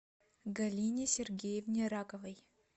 галине сергеевне раковой